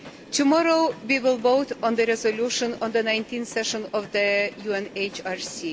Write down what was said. Tomorrow we will vote on the resolution on the 19 th session of the UNHRC.